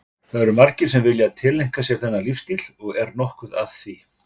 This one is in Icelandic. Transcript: Það eru margir sem vilja tileinka sér þennan lífstíl og er nokkuð að því?